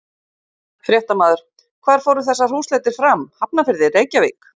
Fréttamaður: Hvar fóru þessar húsleitir fram, Hafnarfirði, Reykjavík?